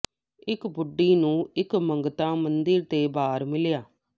ਇੱਕ ਬੁੱਢੀ ਨੂੰ ਇੱਕ ਮੰਗਤਾ ਮੰਦਿਰ ਦੇ ਬਾਹਰ ਮਿਲਿਆ